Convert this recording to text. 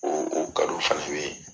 O , o fɛnɛ be yen.